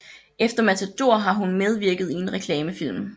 Efter Matador har hun medvirket i en reklamefilm